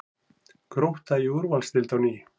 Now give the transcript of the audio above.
Grótta í úrvalsdeild á ný